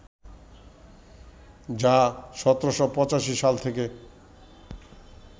যা ১৭৮৫ সাল থেকে